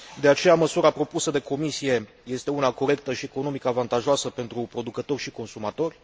De aceea, măsura propusă de Comisie este una corectă și economic avantajoasă pentru producători și consumatori.